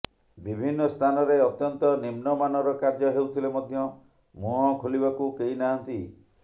ବିଭିନ୍ନ ସ୍ଥାନରେ ଅତ୍ୟନ୍ତ ନିମ୍ନ ମାନର କାର୍ଯ୍ୟ ହେଉଥିଲେ ମଧ୍ୟ ମୁହଁ ଖୋଲିବାକୁ କେହି ନାହାନ୍ତି